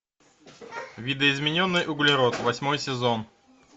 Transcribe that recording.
видоизмененный углерод восьмой сезон